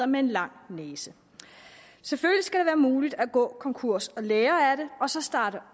med en lang næse selvfølgelig skal være muligt at gå konkurs og lære af det og så starte